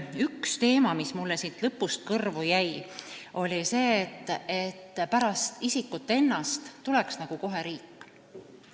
Üks teema, mis mulle siit lõpust kõrvu jäi, oli see, justkui tuleks pärast isikut ennast kohe riik.